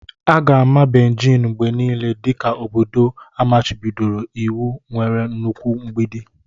Aga-ama Bejin mgbe niile dị ka obodo amachibidoro iwu nwere nnukwu mgbidi.